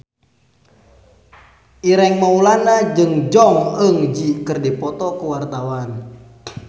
Ireng Maulana jeung Jong Eun Ji keur dipoto ku wartawan